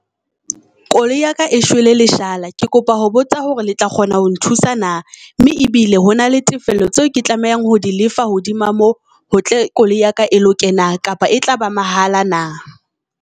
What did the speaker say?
Koloi ya ka e shwele leshala. Ke kopa ho botsa hore le tla kgona ho nthusa na, mme ebile hona le tefello tseo ke tlamehang ho di lefa hodima moo hotle, koloi ya ka e loke na? Kapa e tlaba mahala na?